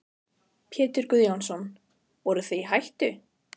Pétur Guðjónsson: Voruð þið í hættu?